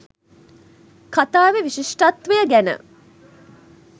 කතාවෙ විශිෂ්ටත්වය ගැන